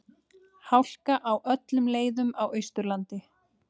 Hálka á öllum leiðum á Austurlandi